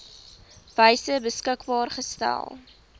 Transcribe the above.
wyse beskikbaar gestel